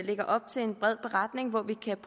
lægger op til en bred beretning hvor vi kan